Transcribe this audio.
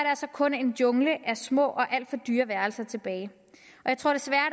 kun en jungle af små og alt for dyre værelser tilbage jeg tror desværre